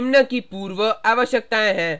निम्न की पूर्व आवश्यकताएं हैं